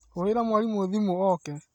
Hũrĩra mwarimũthimũoke